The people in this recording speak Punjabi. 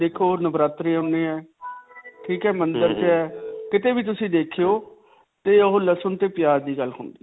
ਦੇਖੋ ਨਵ੍ਰਾਤ੍ਰੇ ਹੁੰਦੇ ਹੈ, ਠੀਕ ਹੈ, ਮੰਦਰ 'ਚ ਹੈ, ਕਿਤੇ ਵੀ ਤੁਸੀਂ ਦੇਖਿਓ ਤੇ ਓਹ ਲਸਨ ਤੇ ਪਿਆਜ ਦੀ ਗੱਲ ਹੁੰਦੀ ਹੈ.